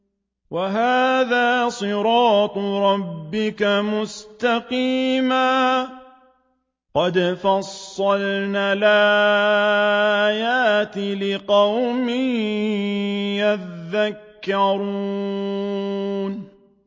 وَهَٰذَا صِرَاطُ رَبِّكَ مُسْتَقِيمًا ۗ قَدْ فَصَّلْنَا الْآيَاتِ لِقَوْمٍ يَذَّكَّرُونَ